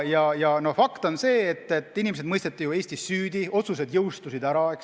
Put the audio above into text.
Fakt on see, et inimesed mõisteti Eestis süüdi ja otsused jõustusid, eks ole.